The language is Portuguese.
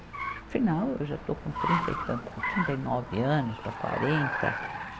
Afinal, eu já estou com trinta e tan, trinta e nove anos para quarenta.